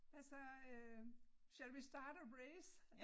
Hvad så øh shall we start a race